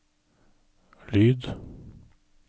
lyd